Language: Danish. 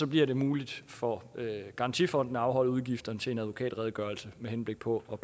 bliver det muligt for garantifonden at afholde udgifterne til en advokatredegørelse med henblik på at